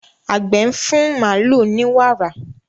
Àgbẹ̀ ń fún màlúù ní wàrà.